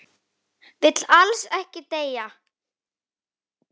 Vill alls ekki deyja.